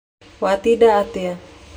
Watinda atĩa?